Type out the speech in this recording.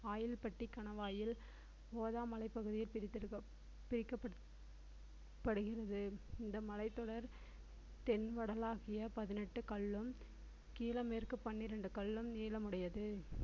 ஆயில்பட்டி கணவாயில் கோதா மலைப்பகுதி பிரித்தெடுக்க~ பிரிக்கப்படுகிறது இந்த மலைத்தொடர் தென் வடலாகிய பதினெட்டு கல்லும் மேற்கு பன்னிரண்டு கல்லும் நீளமுடையது